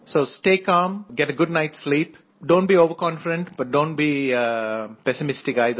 so stay calm get a good night's sleep don't be overconfident but don't be pessimistic either